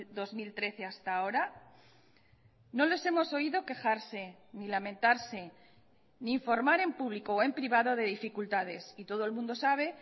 dos mil trece hasta ahora no les hemos oído quejarse ni lamentarse ni informar en público o en privado de dificultades y todo el mundo sabe